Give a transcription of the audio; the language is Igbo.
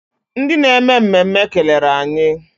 Ndị na-eme mmemme kelere anyị.